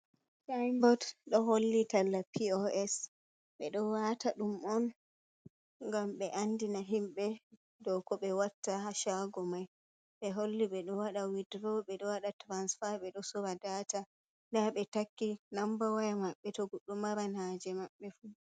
Saiboot ɗo holli talla POS. Ɓe ɗo waata ɗum on ngam ɓe andina himɓe do ko ɓe watta haa shaago mai, ɓe holli ɓe ɗo waɗa widduro, ɓe ɗo waɗa tirasfaa, ɓe ɗo soora data, nda ɓe takki nambawaya maɓɓe to goɗɗo maran haaje maɓɓe fuu.